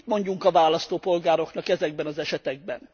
Mit mondjunk a választópolgároknak ezekben az esetekben?